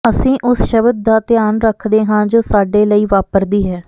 ਅਸੀਂ ਉਸ ਸ਼ਬਦ ਦਾ ਧਿਆਨ ਰੱਖਦੇ ਹਾਂ ਜੋ ਸਾਡੇ ਲਈ ਵਾਪਰਦੀ ਹੈ